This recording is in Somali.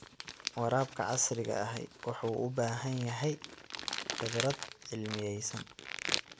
Waraabka casriga ahi wuxuu u baahan yahay khibrad cilmiyaysan.